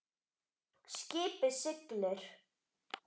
Skipið siglir.